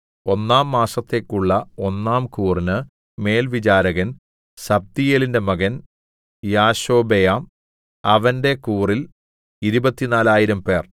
ഒന്നാം മാസത്തേക്കുള്ള ഒന്നാം കൂറിന് മേൽവിചാരകൻ സബ്ദീയേലിന്‍റെ മകൻ യാശോബെയാം അവന്റെ കൂറിൽ ഇരുപത്തിനാലായിരംപേർ 24000